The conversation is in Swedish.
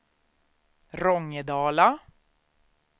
Rångedala